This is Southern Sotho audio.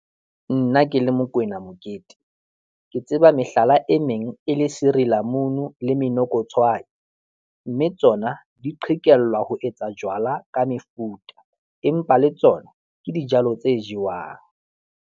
Nna ke le Mokoena Mokete, ke tseba mehlala e meng e le sirilamunu le monokotshwai mme tsona di qhekellwa ho etsa jwala ka mefuta, empa le tsona ke dijalo tse jewang.